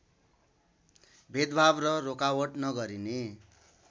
भेदभाव र रोकावट नगरिने